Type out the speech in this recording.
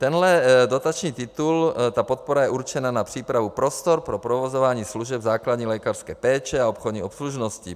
Tenhle dotační titul, ta podpora je určena na přípravu prostor pro provozování služeb základní lékařské péče a obchodní obslužnosti.